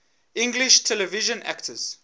english television actors